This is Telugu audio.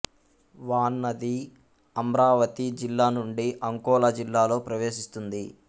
వాన్ నది అమ్రావతి జిల్లా నుండి అంకోలా జిల్లాలో ప్రవేశిస్తుంది